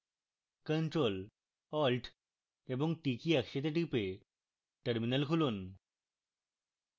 ctrl + alt + t কী একসাথে টিপে terminal খুলুন